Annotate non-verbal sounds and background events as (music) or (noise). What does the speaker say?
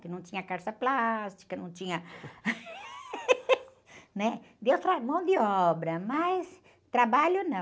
Que não tinha calça plástica, não tinha, (laughs) né? Deu tra, mão de obra, mas trabalho não.